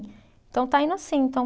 Então, está indo assim, então